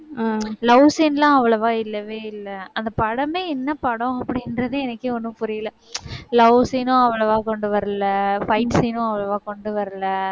அஹ் love scene எல்லாம் அவ்வளவா இல்லவே இல்லை அந்தப் படமே என்ன படம்? அப்படின்றதே எனக்கே ஒண்ணும் புரியல. love scene உம் அவ்வளவா கொண்டு வரல. fight scene னும் அவ்வளவா கொண்டு வரல.